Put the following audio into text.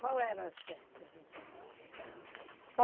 Qual eram as festas, então?